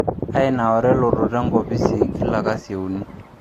Ainaura elototo enkoposi kila kasi e uni